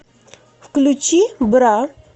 включи бра